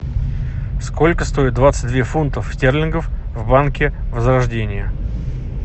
сколько стоит двадцать две фунтов стерлингов в банке возрождение